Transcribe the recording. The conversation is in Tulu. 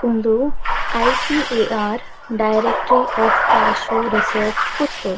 ಉಂದು ICAR directory of cashew research Puttur.